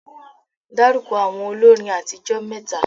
Dárúkọ àwọn olórin àtijó mẹ́ta?